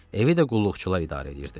Evi də qulluqçular idarə edirdi.